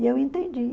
E eu entendi.